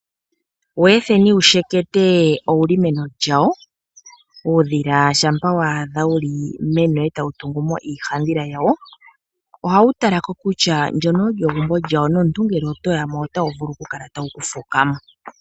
Weetheni wushekete owuli meno lyawo. Uudhila shampa waadha wuli meno etawu tungumo iihandhila yawo ohawu talako kutya ndyono olyo egumbo lyawo nomuntu ngele otoya mo otawu vulu oku kala tawu kufuka mo.